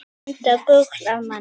Enda gull af manni.